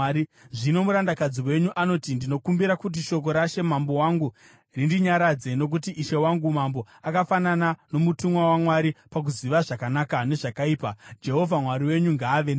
“Zvino murandakadzi wenyu anoti, ‘Ndinokumbira kuti shoko rashe mambo wangu rindinyaradze, nokuti ishe wangu mambo akafanana nomutumwa waMwari pakuziva zvakanaka nezvakaipa. Jehovha Mwari wenyu ngaave nemi.’ ”